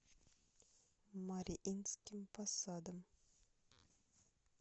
мариинским посадом